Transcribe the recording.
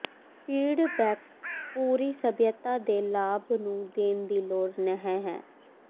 feedback ਪੂਰੀ ਸਭਿਅਤਾ ਦੇ ਲਾਭ ਨੂੰ ਦੇਣ ਦੀ ਲੋੜ ਨਹ ਹੈ